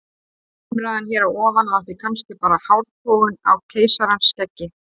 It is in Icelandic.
Umræðan hér að ofan var því kannski bara hártogun á keisarans skeggi.